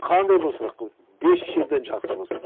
қандай болса да хоть бес жерден жақсы болсын